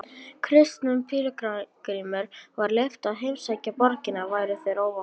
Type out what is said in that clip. Kristnum pílagrímum var leyft að heimsækja borgina væru þeir óvopnaðir.